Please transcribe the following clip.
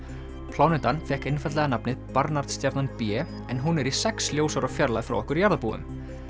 plánetan fékk einfaldlega nafnið stjarnan b en hún er í sex ljósára fjarlægð frá okkur jarðarbúum